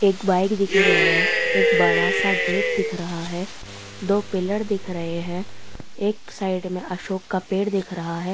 एक बाइक दिख रही है एक बड़ा सा गेट दिख रहा है दो पिलर दिख रहे है एक साइड में अशोक का पेड़ दिख रहा है।